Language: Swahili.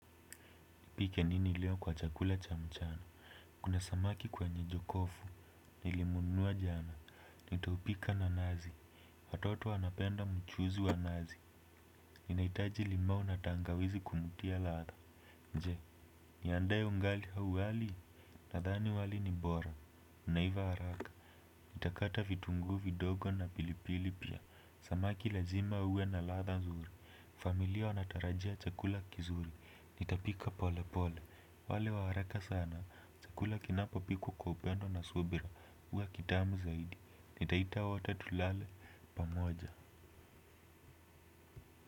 Nipike nini leo kwa chakula cha mchana. Kuna samaki kwenye jokofu. Nilimununua jana. Nitaupika na nazi. Watoto wanapenda mchuzi wa nazi. Ninaitaji limau na tangawizi kumutia latha. Je, niandae ungali au wali. Nadhani wali ni bora. Unaiva haraka. Nita kata vitungu vidogo na pilipili pia. Samaki lazima uwe na latha nzuri. Familia wanatarajia chakula kizuri. Nitapika pole pole. Wale wa haraka sana, chakula kinapopikwa kwa upendo na subira huwa kitamu zaidi, nitaita wote tulale, pamoja.